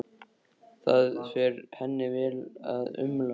Það fer henni vel að umla.